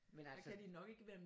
Men altså